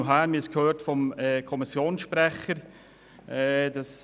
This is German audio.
Wir haben es vom Kommissionssprecher gehört: